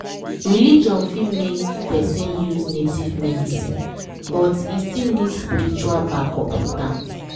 religion fit make person use native medicine but e still need spiritual backup with am.